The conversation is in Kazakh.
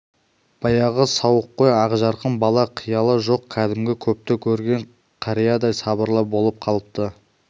баяғы сауыққой ақжарқын бала қиялы жоқ кәдімгі көпті көрген қариядай сабырлы болып қалыпты